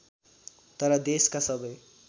तर देशका सबै